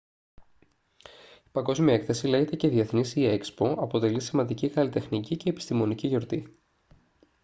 η παγκόσμια έκθεση λέγεται και διεθνής ή expo αποτελεί σημαντική καλλιτεχνική και επιστημονική γιορτή